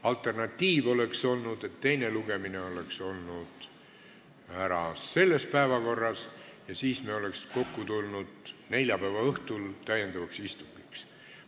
Alternatiiv oleks olnud selline, et teine lugemine oleks ära olnud selle päevakorra järgi ja siis me oleks neljapäeva õhtul tulnud kokku täiendavaks istungiks.